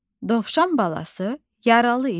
Dovşan balası yaralı idi.